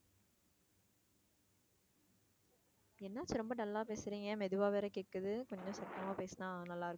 என்னாச்சு ரொம்ப dull ஆ பேசுறீங்க மெதுவா வேற கேட்குது கொஞ்சம் சத்தமா பேசுனா நல்லா